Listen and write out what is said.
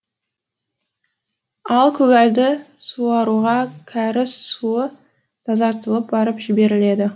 ал көгалды суаруға кәріз суы тазартылып барып жіберіледі